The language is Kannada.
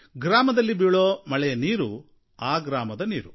ಗ್ರಾಮದಲ್ಲಿ ಬೀಳುವ ಮಳೆಯ ನೀರು ಆ ಗ್ರಾಮದ ನೀರು